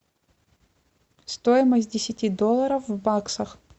стоимость десяти долларов в баксах